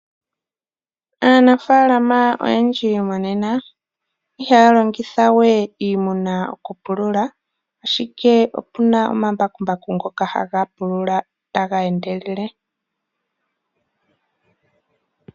Aanafaalama oyendji monena ihaya longitha we iimuna okupulula, ashike opu na omambakumbaku ngoka haga pulula taga endelele.